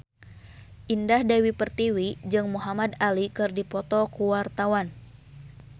Indah Dewi Pertiwi jeung Muhamad Ali keur dipoto ku wartawan